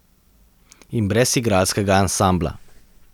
In brez igralskega ansambla.